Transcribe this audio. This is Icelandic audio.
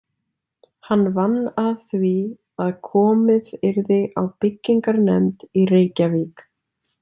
Hann vann að því að komið yrði á byggingarnefnd í Reykjavík.